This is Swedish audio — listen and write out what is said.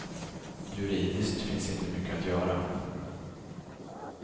Juridiskt finns inte mycket att göra.